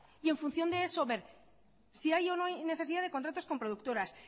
y en función de eso ver si hay o no hay necesidad de contratos con productoras